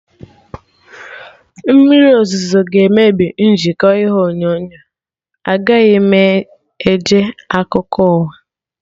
Mmriri ọzụzụ ga emebi njikọ ihe onyonyo, agaghị m ege akụkọ ụwa